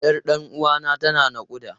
Yar ɗan uwana tana naƙuda.